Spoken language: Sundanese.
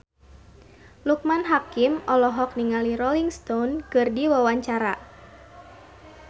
Loekman Hakim olohok ningali Rolling Stone keur diwawancara